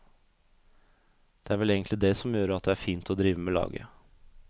Det er vel egentlig det som gjør at det er fint å drive med laget.